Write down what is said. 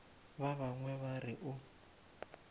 ba bangwe ba re o